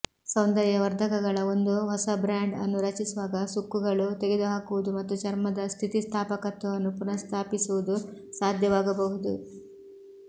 ಸೌಂದರ್ಯವರ್ಧಕಗಳ ಒಂದು ಹೊಸ ಬ್ರಾಂಡ್ ಅನ್ನು ರಚಿಸುವಾಗ ಸುಕ್ಕುಗಳು ತೆಗೆದುಹಾಕುವುದು ಮತ್ತು ಚರ್ಮದ ಸ್ಥಿತಿಸ್ಥಾಪಕತ್ವವನ್ನು ಪುನಃಸ್ಥಾಪಿಸುವುದು ಸಾಧ್ಯವಾಗಬಹುದು